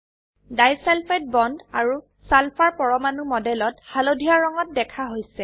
disulphide bond আৰু sulphur পৰমাণু মডেলত হালধীয়া ৰঙত দেখা হৈছে